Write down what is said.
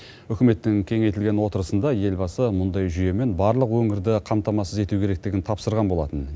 үкіметтің кеңейтілген отырысында елбасы мұндай жүйемен барлық өңірді қамтамасыз ету керектігін тапсырған болатын